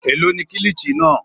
Èló ni kilichi náà?